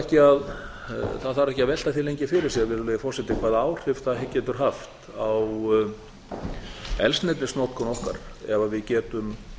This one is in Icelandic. ekki að velta því lengi fyrir sér virðulegi forseti hvaða áhrif það getur haft á eldsneytisnotkun okkar ef við getum